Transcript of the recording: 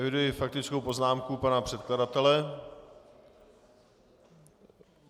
Eviduji faktickou poznámku pana předkladatele.